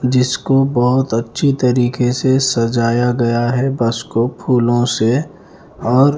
जिसको बहुत अच्छी तरीके से सजाया गया है बस को फूलों से और--